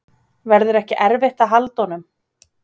Verður ekki erfitt að halda honum?